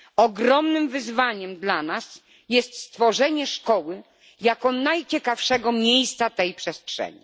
Ogromnym wyzwaniem dla nas jest stworzenie szkoły jako najciekawszego miejsca tej przestrzeni.